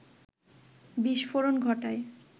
বিস্ফোরণ ঘটায়